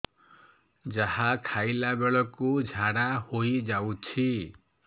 ଯାହା ଖାଇଲା ବେଳକୁ ଝାଡ଼ା ହୋଇ ଯାଉଛି